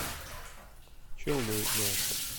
челны мясо